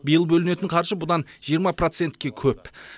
биыл бөлінетін қаржы бұдан жиырма процентке көп